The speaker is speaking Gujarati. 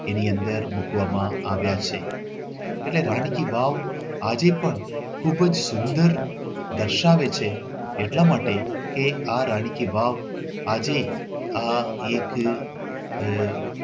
એની અંદર મૂકવામાં આવ્યા છે. એટલે રાણી કી વાવ આજે પણ ખૂબ જ સુંદર દર્શાવે છે એટલા માટે કે આ રાણી કી વાવ આજે આ એક આહ